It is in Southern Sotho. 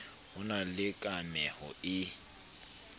ho na le kameho e